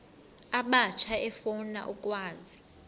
abatsha efuna ukwazi